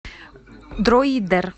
дроидер